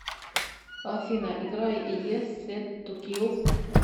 афина играй ес сет ту кил